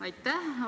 Aitäh!